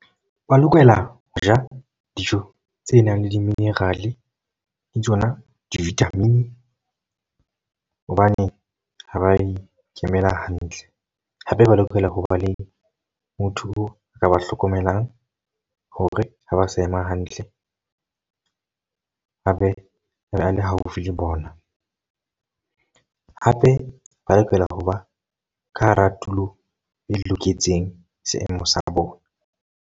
Ba lokela ho ja dijo tse nang le di-mineral, le tsona di-vitamin. Hobane ha ba ikemela hantle. Hape ba lokela ho ba le motho a ka ba hlokomelang hore ha ba sa ema hantle, a be a le haufi le bona. Hape ba lokela ho ba ka hara tulo e loketseng seemo sa bona.